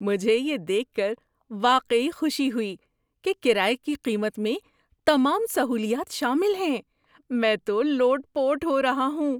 مجھے یہ دیکھ کر واقعی خوشی ہوئی کہ کرایے کی قیمت میں تمام سہولیات شامل ہیں۔ میں تو لوٹ پوٹ ہو رہا ہوں!